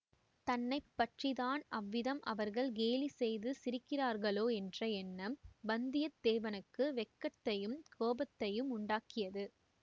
தன்னை பற்றி தான் அவ்விதம் அவர்கள் கேலி செய்து சிரிக்கிறார்களோ என்ற எண்ணம் வந்தியத்தேவனுக்கு வெட்கத்தையும் கோபத்தையும் உண்டாக்கியது